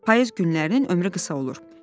Payız günlərinin ömrü qısa olur.